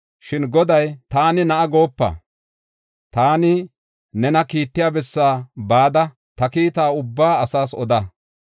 Shin Goday, “ ‘Taani na7a goopa’; taani nena kiittiya bessaa bada ta kiita ubbaa asaas oda.